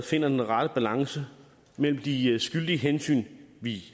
finder den rette balance mellem de skyldige hensyn vi